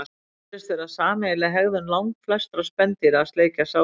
Það virðist vera sameiginleg hegðun langflestra spendýra að sleikja sár sín.